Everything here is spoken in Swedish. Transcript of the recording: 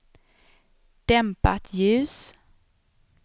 dämpat ljus